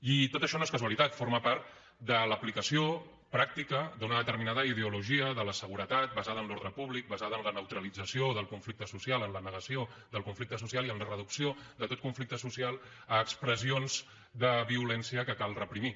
i tot això no és casualitat forma part de l’aplicació pràctica d’una determinada ideologia de la seguretat basada en l’ordre públic basada en la neutralització del conflicte social en la negació del conflicte social i en la reducció de tot conflicte social a expressions de violència que cal reprimir